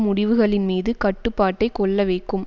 முடிவுகளின் மீது கட்டுப்பாட்டை கொள்ள வைக்கும்